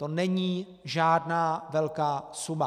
To není žádná velká suma.